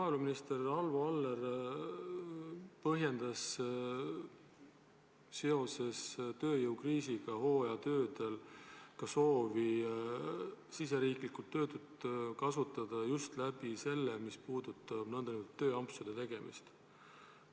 Maaeluminister Arvo Aller soovitas seoses tööjõukriisiga hooajatöödel meie oma töötuid kasutada just nende nn tööampsude abil.